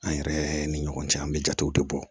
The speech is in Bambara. An yɛrɛ ni ɲɔgɔn cɛ an bɛ jatew de bɔ